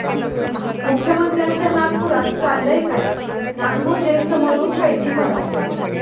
मुख्यमंत्र्यांच्या नागपुरात चाललंय काय? नागपूर जेलसमोरून कैदी फरार